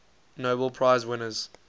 nobel prize winners